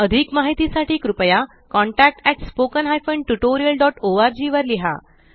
अधिक माहिती साठी कृपया contactspoken tutorialorg वर लिहा